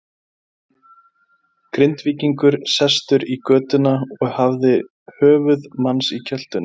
Grindvíkingur sestur í götuna og hafði höfuð manns í kjöltunni.